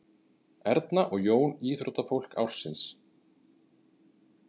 Erna og Jón íþróttafólk ársins